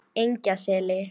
Engjaseli